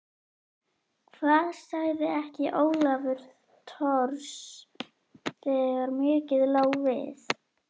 Hvað sagði ekki Ólafur Thors þegar mikið lá við